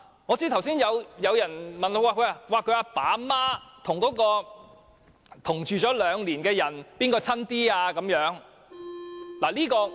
我知道剛才有人問，死者的父母與曾和死者同住兩年的人比較，誰比較親近呢？